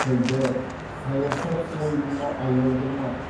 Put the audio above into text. тілді саясат сойылына айналдырмады